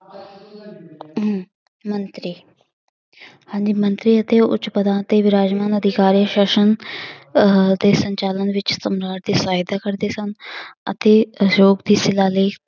ਹਮ ਮੰਤਰੀ ਹਾਂਜੀ ਮੰਤਰੀ ਅਤੇ ਉੱਚ ਪਦਾਂ ਤੇ ਵਿਰਾਜਮਾਨ ਅਧਿਕਾਰੀ ਸ਼ਾਸ਼ਨ ਅਹ ਅਤੇ ਸੰਚਾਲਨ ਵਿੱਚ ਸਮਰਾਟ ਦੀ ਸਹਾਇਤਾ ਕਰਦੇ ਸਨ ਅਤੇ ਲਈ